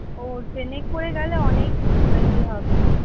ও train এ করে গেলে অনেক ইয়ে হবে।